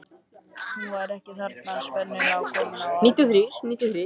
Hún var ekki þarna, sennilega komin á haugana.